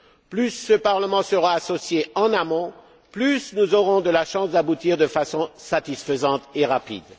Plus ce Parlement sera associé en amont, plus nous aurons de chances d'aboutir de façon satisfaisante et rapide.